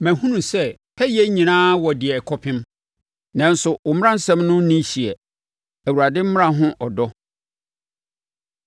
Mahunu sɛ pɛyɛ nyinaa wɔ deɛ ɛkɔpem; nanso wo mmaransɛm no nni hyeɛ. Awurade Mmara Ho Ɔdɔ